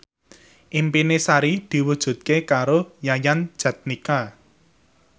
impine Sari diwujudke karo Yayan Jatnika